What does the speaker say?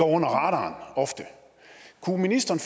under radaren kunne ministeren